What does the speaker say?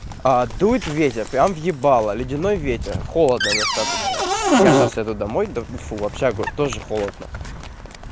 а дует ветер прямо в ебало ледяной ветер холодно достаточно я сейчас еду домой до фу в общагу тоже холодно